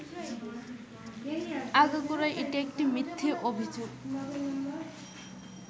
আগাগোড়া এটি একটি মিথ্যে অভিযোগ